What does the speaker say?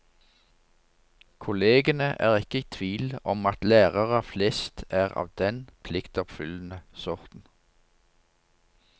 Kollegene er ikke i tvil om at lærere flest er av den pliktoppfyllende sorten.